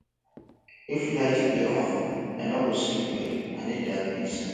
if light dey on i no go sleep well i need darkness